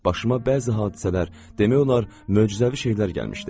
Başıma bəzi hadisələr, demək olar, möcüzəvi şeylər gəlmişdi.